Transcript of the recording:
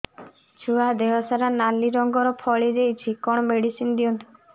ଛୁଆ ଦେହ ସାରା ନାଲି ରଙ୍ଗର ଫଳି ଯାଇଛି କଣ ମେଡିସିନ ଦିଅନ୍ତୁ